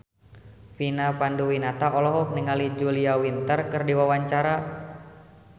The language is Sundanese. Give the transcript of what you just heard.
Vina Panduwinata olohok ningali Julia Winter keur diwawancara